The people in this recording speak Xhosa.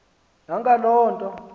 na ngaloo nto